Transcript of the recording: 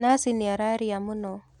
Nathi nĩararia mũno.